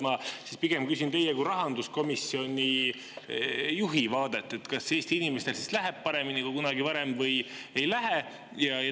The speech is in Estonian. Ma küsin teie kui rahanduskomisjoni juhi vaadet: kas Eesti inimestel läheb paremini kui kunagi varem või ei lähe?